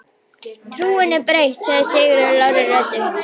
Trúin er breytt, sagði Sigurður lágri röddu.